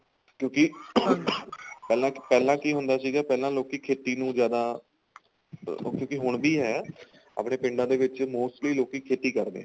ਕਿਉਂਕਿ ing ਪਹਿਲਾਂ ਪਹਿਲਾਂ ਕੀ ਹੁੰਦਾ ਸੀਗਾ ਪਹਿਲਾਂ ਲੋਕੀ ਖੇਤੀ ਨੂੰ ਜਿਆਦਾ ਕਿਉਂਕਿ ਹੁਣ ਵੀ ਏ ਆਪਣੇ ਪੀਂਦਾ ਦੇ ਵਿਚ mostly ਲੋਕੀ ਖੇਤੀ ਕਰਦੇ ਏ